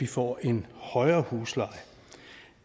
får en højere husleje